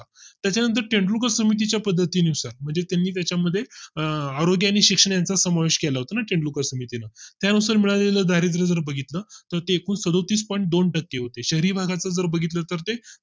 त्याच्या नंतर तेंडुलकर समिती च्या पद्धतीनुसार म्हणजे तुम्ही त्याच्या मध्ये आह आरोग्य आणि शिक्षणाचा समावेश केला होता समितीने त्यानुसार मिळालेल्या द्रारिद्र जर बघितलं तर ते खूप सदुतीस point दोन टक्के होते शहरी भागात जर बघितलं तर ते